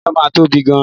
Ilẹ̀ náà máa tóbi gan-an.